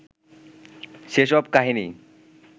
সেসব কাহিনী